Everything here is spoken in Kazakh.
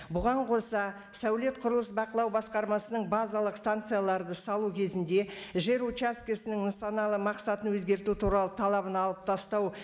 бұған қоса сәулет құрылыс бақылау басқармасының базалық станцияларды салу кезінде жер участкісінің нысаналы мақсатын өзгерту туралы талабын алып тастау